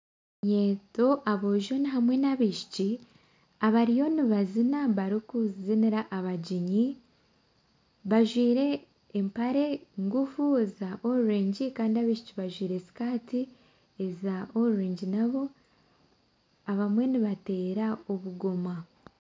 Eminyeeto aboojo hamwe n'abaishiki abariyo nibazina barikuzinira abagyenyi. Bajwaire empare ngufu za orengi kandi abaishiki bajwaire skaati eza orengi nabo. Abamwe nibateera obugoma.